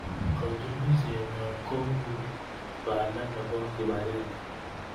Katunisienyo ko u panda nebo kipakenge